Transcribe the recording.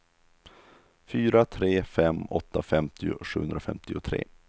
fyra tre fem åtta femtio sjuhundrafemtiotre